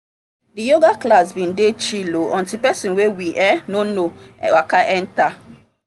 the yoga class been dey chill o until person wey we um no know waka enter